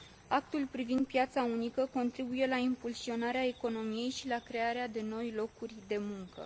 Actul privind piața unică contribuie la impulsionarea economiei și la crearea de noi locuri de muncă.